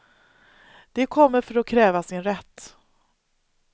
De kommer för att kräva sin rätt.